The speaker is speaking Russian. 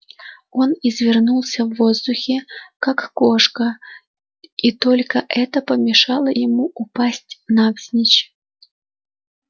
он извернулся в воздухе как кошка и только это помешало ему упасть навзничь